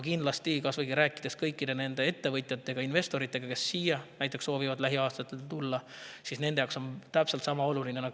Kindlasti, kui rääkida ettevõtjate ja investoritega, kes soovivad lähiaastatel siia tulla, siis nende jaoks on see täpselt sama oluline.